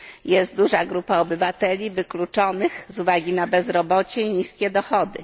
Jest duża grupa obywateli wykluczonych z uwagi na bezrobocie i niskie dochody.